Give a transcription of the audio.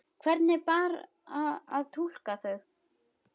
Hvernig bar að túlka þau?